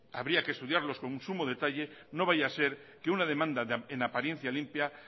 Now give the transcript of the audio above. habría que estudiarlos con sumo detalle no vaya a ser que una demanda en apariencia limpia